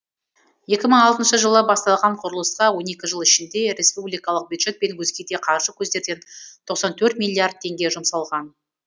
екі мың алтыншы жылы басталған құрылысқа он екі жыл ішінде респубикалық бюджет пен өзге де қаржы көздерден тоқсан төрт миллиард теңге жұмсалған